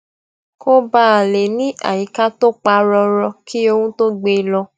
kó baà lè ní àyíká tó pa rórọ kí orún tó gbé e lọ